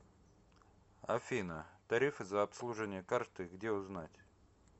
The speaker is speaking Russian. афина тарифы за обслуживание карты где узнать